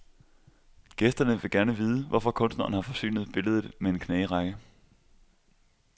Gæsterne vil gerne vide, hvorfor kunstneren har forsynet billedet med en knagerække.